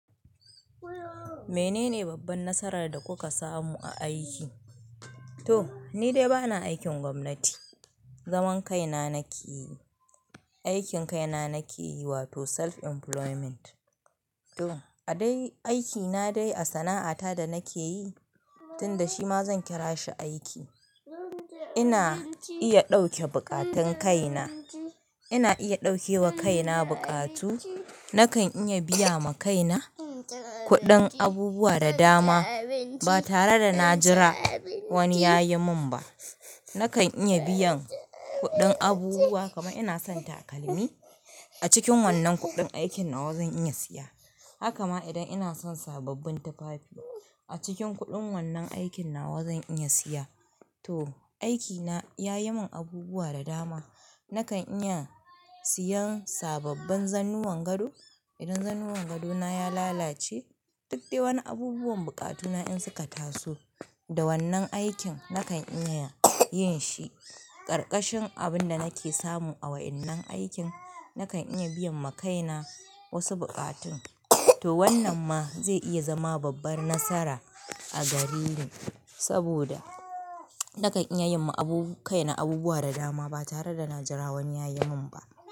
Menene babban nasarar da kuka samu a aiki? To, nidai bana aikin gwamnati, zaman kaina nake yi. Aikin kaina nake yi, wato self employment. To, a dai aikina dai a sana'ata da nake yi, tunda shi ma zan kira shi aiki. Ina iya ɗauke buƙatun kaina. Ina iya ɗauke wa kaina buƙatu. Nakan iya biya ma kaina kuɗin abubuwa da dama. Ba tare da na jira wani ya yi min ba. Nakan iya biyan kuɗin abubuwa. Kaman ina son takalmi, a cikin wannan kuɗin aikin nawa zan iya siya. Haka ma idan ina son sababbin tufafi, a cikin kuɗin wannan aikina wa zan iya siya. To, aikina ya yi min abubuwa da dama. Nakan iya siyan sababben zannuwan gado idan zannuwan gadona ya lalace. Duk dai wani abubuwan bukatuna in suka taso, da wannan aikin nakan iya yin shi. Karkashin abin da nake samu a wa'innan aikin, na kan iya biyan ma kaina wasu bukatun. To wannan ma zai iya zama babbar nasara a gare ni, saboda nakan iya yi ma kaina abubuwa da dama ba tare da na jira wani ya yi min ba.